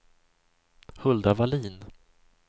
Hulda Wallin